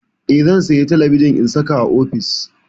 Eh, zan saya talabijin in saka a ofis.